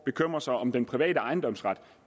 bekymrer sig om den private ejendomsret